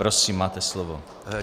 Prosím, máte slovo.